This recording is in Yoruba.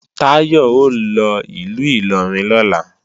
Táyọ̀ ó lọ ìlú Ìlọrin lọ́la